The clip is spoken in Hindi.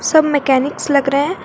सब मैकेनिक्स लग रहे